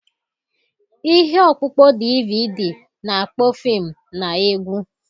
Ihe ọkpụkpọ DVD na-akpọ fim na egwu.